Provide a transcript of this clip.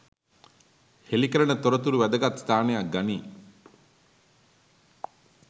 හෙළිකරන තොරතුරු වැදගත් ස්ථානයක් ගනී.